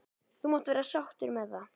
. þú mátt vera sáttur með það.